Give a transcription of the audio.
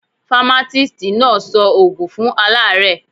Famatisti náà sọ ògùn fún alaare